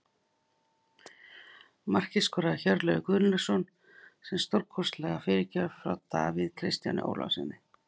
Markið skoraði Höskuldur Gunnlaugsson eftir stórkostlega fyrirgjöf frá Davíð Kristjáni Ólafssyni.